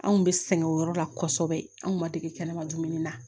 Anw kun bɛ sɛgɛn o yɔrɔ la kosɛbɛ an kun ma dege kɛnɛma dumuni na